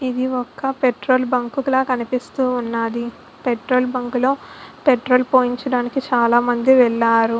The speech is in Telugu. ఇది ఒక్క పెట్రోల్ బంకు లా కనిపిస్తూ ఉన్నది. పెట్రోల్ బంక్ లో పెట్రోల్ పోయించడానికి చాలామంది వెళ్లారు.